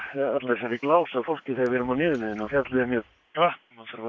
allri þessari glásu af fólki þegar við erum á niðurleiðinni og fjallið er mjög bratt náttúrulega